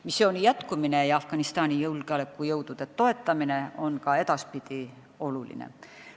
Missiooni jätkumine ja Afganistani julgeolekujõudude toetamine on ka edaspidi oluline.